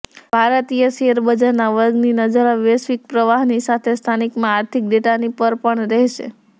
ભારતીય શેરબજારના વર્ગની નજર હવે વૈશ્વિક પ્રવાહની સાથે સ્થાનિકમાં આર્થિક ડેટાની પર પણ રહેશે